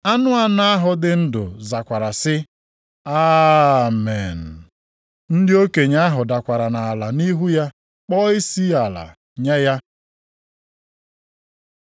Anụ anọ ahụ dị ndụ zakwara sị, “Amen!” Ndị okenye ahụ dakwara nʼala nʼihu ya kpọọ isiala nye ya.